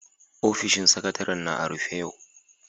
Ofishin Sakatare'n na a'rufe yau.